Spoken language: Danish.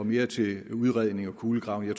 mere til udredning eller kulegravning